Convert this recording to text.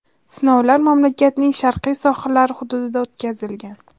Sinovlar mamlakatning sharqiy sohillari hududida o‘tkazilgan.